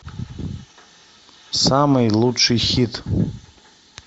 самый лучший хит